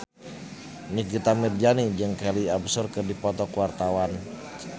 Nikita Mirzani jeung Kelly Osbourne keur dipoto ku wartawan